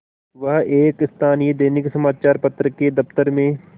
वह एक स्थानीय दैनिक समचार पत्र के दफ्तर में